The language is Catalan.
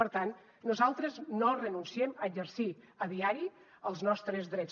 per tant nosaltres no renunciem a exercir a diari els nostres drets